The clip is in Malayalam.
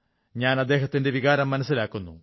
ഞാൻ അദ്ദേഹത്തിന്റെ വികാരം മനസ്സിലാക്കുന്നു